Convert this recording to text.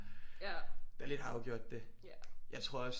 Der lidt har afgjort det jeg tror også